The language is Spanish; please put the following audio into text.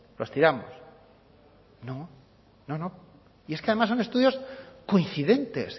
los tiramos no no no y es que además son estudios coincidentes